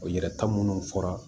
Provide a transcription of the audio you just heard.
Yɛrɛ ta minnu fɔra